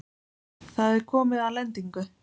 Það er komið að lendingu.